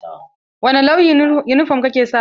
Wani launin yunifom ka ke sawa?